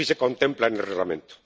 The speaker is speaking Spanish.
Así se contempla en el Reglamento.